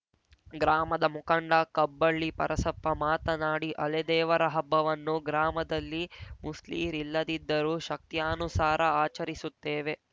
ಗ್ರಾಮದ ಮುಖಂಡ ಕಬ್ಬಳ್ಳಿ ಪರಸಪ್ಪ ಮಾತನಾಡಿ ಅಲೆದೇವರ ಹಬ್ಬವನ್ನು ಗ್ರಾಮದಲ್ಲಿ ಮುಸ್ಲೀರಿಲ್ಲದಿದ್ದರೂ ಶಕ್ತ್ಯಾನುಸಾರ ಆಚರಿಸುತ್ತೇವೆ